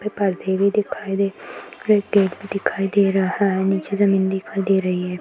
फिर परदे भी दिखाई दे और एक गेट भी दे रहा हे नीचे जमीन दिखाई दे रही है।